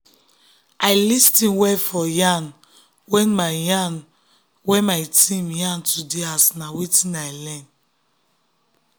i lis ten well for yarn wey my yarn wey my team yarn today as na wetin i learn.